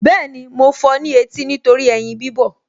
Bẹ́ẹ̀ni, mo fọ ní etí nítorí ẹyin bíbọ̀